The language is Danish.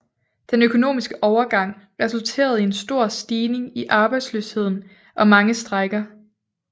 Den økonomiske overgang resulterede i en stor stigning i arbejdsløsheden og mange strejker